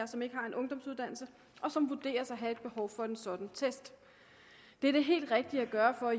som ikke har en ungdomsuddannelse og som vurderes at have et behov for en sådan test det er det helt rigtige at gøre for